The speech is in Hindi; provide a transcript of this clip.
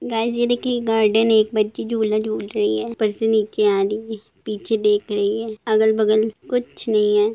'' गाएस ये देखिए एक गार्डेन हैं एक वक्ति झूले झूल रहे है आ रही है अगल बगल कुछ नही है। ''